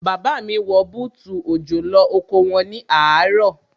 Bàbá mi wọ bútù òjò lọ oko wọn ní àárọ̀.